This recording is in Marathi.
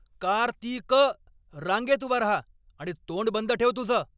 कार्तिक! रांगेत उभा राहा आणि तोंड बंद ठेव तुझं.